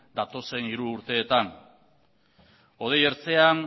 datozen hiru urteetan hodei ertzean